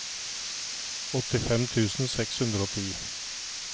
åttifem tusen seks hundre og ti